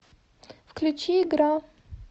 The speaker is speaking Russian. включи игра